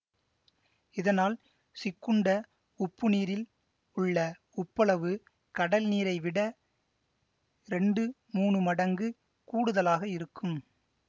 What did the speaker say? இதனால் சிக்குண்ட உப்புநீரில் உள்ள உப்பளவு கடல்நீரை விட இரண்டு மூனு மடங்கு கூடுதலாக இருக்கும்